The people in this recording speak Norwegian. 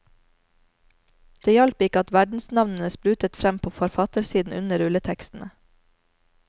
Det hjalp ikke at verdensnavnene sprutet frem på forfattersiden under rulletekstene.